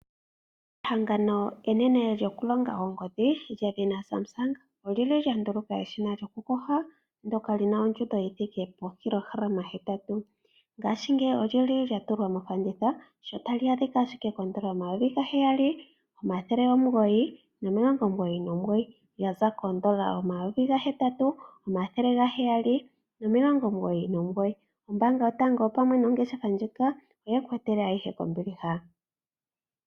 Ehangano enene lyokulonga oongodhi, lyedhina Samsung, oli li lya nduluka eshina lyokuhoha ndoka li na ondjudo yi thike po kilogalama hetatu. Ngaashingeyi olyo li li lya tulwa mofanditha tali adhika ashike koondola omayovi ga heyali omathele omugoyi omilongo omugoyi nomugoyi, lya za koondola omayovi ga hetatu omathele ga heyali nomilongo omugoyi nomugoyi. Ombaanga yotango pamwe nongeshefa ndjika oye ku etela ayihe kombiliha.